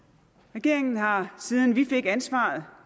regeringen har siden vi fik ansvaret